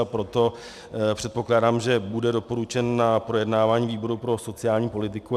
A proto předpokládám, že bude doporučen na projednávání výboru pro sociální politiku.